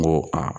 N ko aa